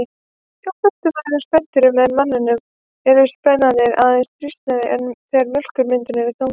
Hjá flestum öðrum spendýrum en manninum eru spenarnir aðeins þrýstnir þegar mjólkurmyndun er í gangi.